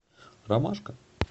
ромашка